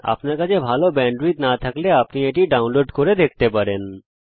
আপনার কাছে ভালো ব্যান্ডউইডথ না থাকলে এটি ডাউনলোড করেও দেখতে পারেন